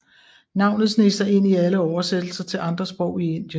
Navnet sneg sig ind i alle oversættelser til andre sprog i Indien